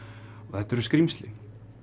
þetta eru skrímsli